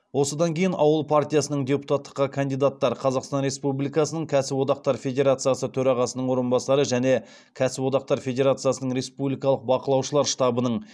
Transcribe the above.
осыдан кейін ауыл партиясынан депутаттыққа кандидаттар қазақстан республикасының кәсіподақтар федерациясы төрағасының орынбасары және кәсіподақтар федерациясының республикалық бақылаушылар штабының